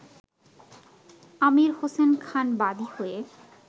আমীর হোসেন খান বাদী হয়ে